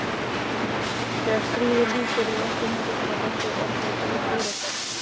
Þegar stríði lýkur eru allar myndirnar af okkur orðnar úreltar.